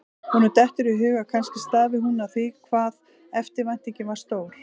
Honum dettur í hug að kannski stafi hún af því hvað eftirvæntingin var stór.